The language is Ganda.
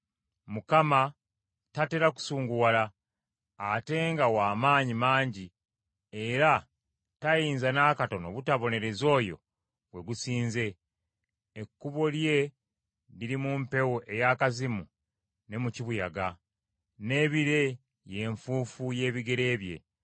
Mukama tatera kusunguwala, ate nga wa maanyi mangi era tayinza n’akatono butabonereza oyo gwe gusinze. Ekkubo lye liri mu mpewo ey’akazimu ne mu kibuyaga, n’ebire ye nfuufu y’ebigere bye.